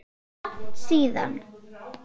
Langt síðan?